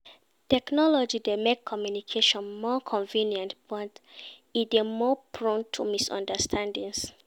Technology dey make communication more convenient, but e dey more prone to misunderstandings.